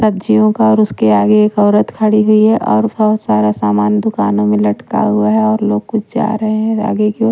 सब्जियों का और उसके आगे एक औरत खड़ी हुई है और बहुत सारा सामान दुकानों में लटका हुआ है और लोग कुछ जा रहे हैं आगे की ओर।